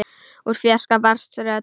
Úr fjarska barst rödd.